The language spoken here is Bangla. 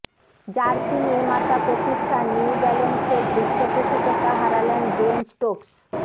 জার্সি নির্মাতা প্রতিষ্ঠান নিউ ব্যালান্সের পৃষ্ঠপোষকতা হারালেন বেন স্টোকস